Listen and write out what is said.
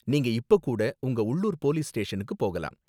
நீங்க இப்ப கூட உங்க உள்ளூர் போலீஸ் ஸ்டேஷனுக்கு போகலாம்.